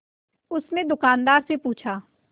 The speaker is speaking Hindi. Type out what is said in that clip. उसने दुकानदार से पूछा